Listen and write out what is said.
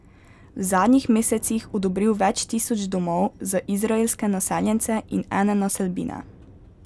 V zadnjih mesecih odobril več tisoč domov za izraelske naseljence in ene naselbine.